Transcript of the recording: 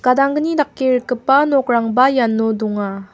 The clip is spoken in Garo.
gadanggni dake rikgipa nokrangba iano donga.